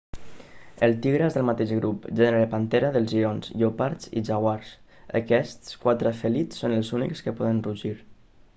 el tigre és del mateix grup gènere pantera dels lleons lleopards i jaguars. aquests quatre fèlids són els únics que poden rugir